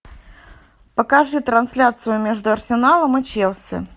покажи трансляцию между арсеналом и челси